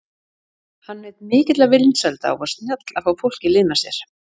Hann naut mikilla vinsælda og var snjall að fá fólk í lið með sér.